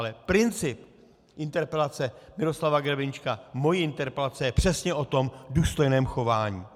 Ale princip interpelace Miroslava Grebeníčka, mojí interpelace je přesně o tom důstojném chování.